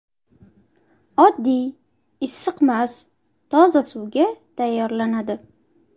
Oddiy, issiqmas, toza suvga tayyorlanadi.